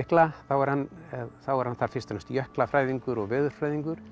mikla þá er hann er hann þar fyrst og fremst jöklafræðingur og veðurfræðingur